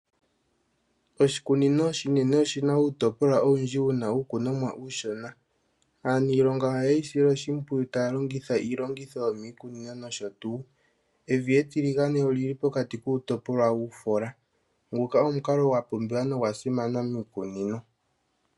Oshikunino oshinene oshi na uutopolwa owundji wu na uukunomwa uushona. Aanilonga ohaye yi sile oshipwiyu taya longitha iilongitho yoomikunino nosho tuu. Evi etiligane oli li pokati kuutopolwa wuufola. Nguka omukalo gwa pumbiwa nogwa simana muukunino.